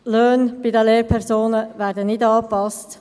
Die Löhne bei den Lehrpersonen werden nicht angepasst.